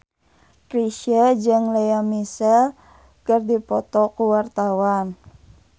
Chrisye jeung Lea Michele keur dipoto ku wartawan